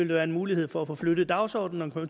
være en mulighed for at få flyttet dagsordenen og